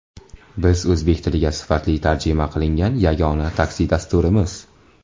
Biz o‘zbek tiliga sifatli tarjima qilingan yagona taksi dasturimiz.